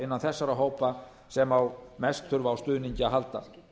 innan þessara hópa sem mest þurfa á stuðningi að halda